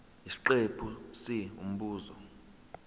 isiqephu c umbuzo